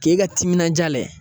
K'e ka timinanja layɛ.